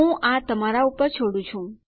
હું આ તમારા પર છોડું છું